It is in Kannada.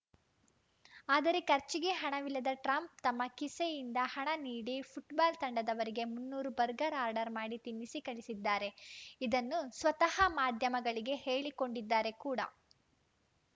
ಆದರೆ ಖರ್ಚಿಗೆ ಹಣವಿಲ್ಲದೆ ಟ್ರಂಪ್‌ ತಮ್ಮ ಕಿಸೆಯಿಂದ ಹಣ ನೀಡಿ ಫುಟ್ಬಾಲ್‌ ತಂಡದವರಿಗೆ ಮುನ್ನೂರು ಬರ್ಗರ್‌ ಆರ್ಡರ್‌ ಮಾಡಿ ತಿನ್ನಿಸಿ ಕಳಿಸಿದ್ದಾರೆ ಇದನ್ನು ಸ್ವತಃ ಮಾಧ್ಯಮಗಳಿಗೆ ಹೇಳಿಕೊಂಡಿದ್ದಾರೆ ಕೂಡ